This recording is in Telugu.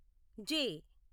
జె